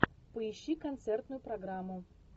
поищи концертную программу